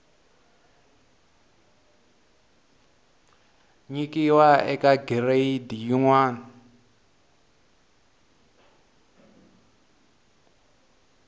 nyikiwa eka giredi yin wana